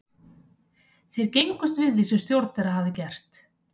Þeir gengust við því sem stjórn þeirra hafði gert.